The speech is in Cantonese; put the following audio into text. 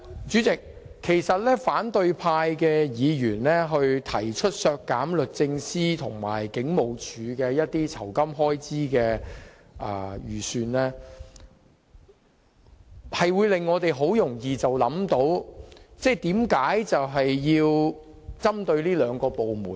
主席，反對派議員提出削減律政司和香港警務處的預算開支，很容易令我們思考他們為何要針對這兩個部門。